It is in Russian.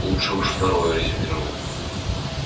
лучше уж второе резюмировал